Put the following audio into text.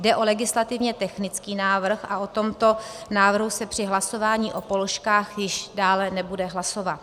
Jde o legislativně technický návrh a o tomto návrhu se při hlasování o položkách již dále nebude hlasovat.